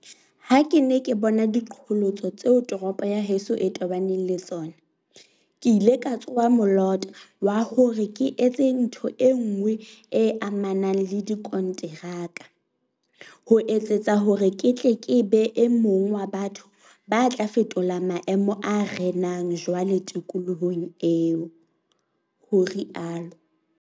"Ha ke ne ke bona diqholotso tseo toropo ya heso e tobaneng le tsona, ke ile ka tsoha molota wa hore ke etse ntho enngwe e amanang le dikonteraka, ho etsetsa hore ke tle ke be e mong wa batho ba tla fetola maemo a renang jwale tikolohong eo," o rialo.